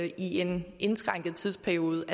i en indskrænket tidsperiode